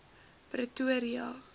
pretoria